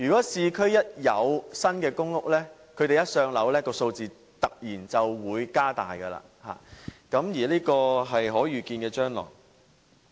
當市區推出新公屋，他們一"上樓"，數字便會突然變大，這個是可預見的將來。